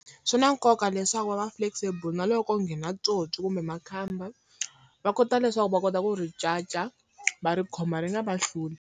Swi na nkoka leswaku va va flexible na loko ko nghena tsotsi kumbe makhamba, va kota leswaku va kota ku ri caca va ri khoma ri nga va hluli.